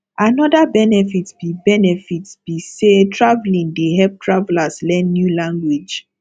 another benefit be benefit be say traveling dey help travelers learn new language